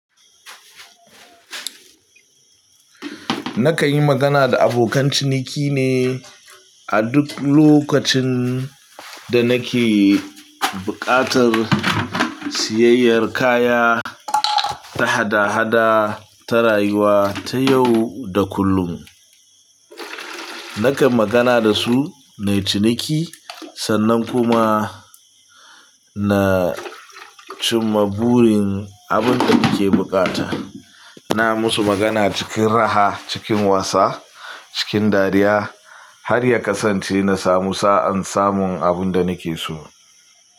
Nakan yi magana da abokan ciniki ne a duk lokacin da nake buƙatar siyayyar kaya ta hada-hada, ta rayuwa, ta yau da kullum. Nakan magana da su na ciniki, sannan kuma na cimma burin abin da nake buƙata. Ina musu magana cikin raha, cikin wasa, cikin dariya har ya kasance na samu sa'an samun abin da nake so.